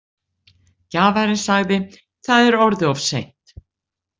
Gjafarinn sagði: Það er orðið of seint.